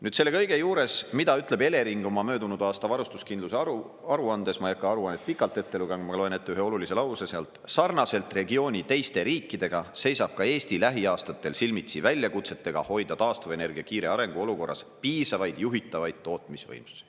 Nüüd, selle kõige juures, mida ütleb Elering oma möödunud aasta varustuskindluse aruandes – ma ei hakka aruannet pikalt ette lugema, ma loen ette ühe olulise lause sealt – "Sarnaselt regiooni teiste riikidega seisab ka Eesti lähiaastatel silmitsi väljakutsetega hoida taastuvenergia kiire arengu olukorras piisavaid juhitavaid tootmisvõimsusi.